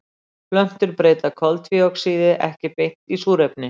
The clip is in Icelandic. Plöntur breyta koltvíoxíði ekki beint í súrefni.